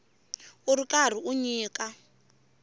u ri karhi u nyika